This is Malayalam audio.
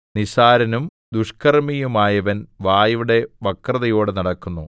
നിസ്സാരനും ദുഷ്കർമ്മിയുമായവൻ വായുടെ വക്രതയോടെ നടക്കുന്നു